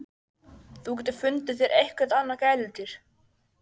ÞÚ GETUR FUNDIÐ ÞÉR EITTHVERT ANNAÐ GÆLUDÝR!